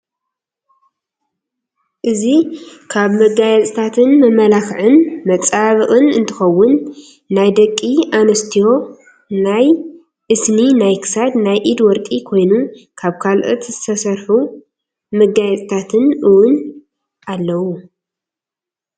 እዚ ካብ መዓፅታትን መመላክን መፃባበቅን እንትከውን ናይ ደቂ ኣንስትዮ ናይ እስኒ ናይ ክሳድ፣ ናይ ኢድ ወርቂ ኮይኑ ካብ ካሎት ዝስርሑ መጋየፅታት እወን ኣለው።